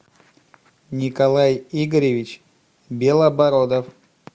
николай игоревич белобородов